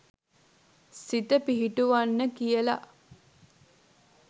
සිත පිහිටුවන්න කියලා